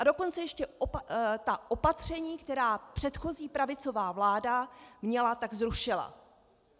A dokonce ještě ta opatření, která předchozí pravicová vláda měla, tak zrušila.